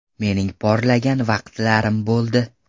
Mening porlagan vaqtlarim bo‘ldi.